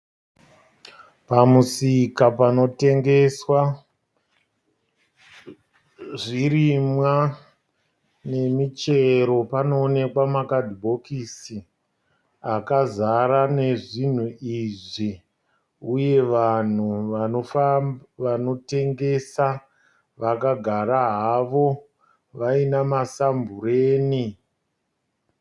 Pamusika panotengeswa zvirimwa nemichero. Panoonekwa pakadhibokisi akazara nezvinhu izvi uye vanhu vanotengesa vakagara havo vaina ma sambureni.